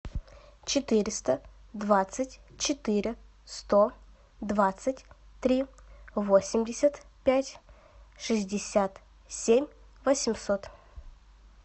четыреста двадцать четыре сто двадцать три восемьдесят пять шестьдесят семь восемьсот